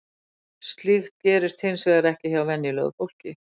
slíkt gerist hins vegar ekki hjá venjulegu fólki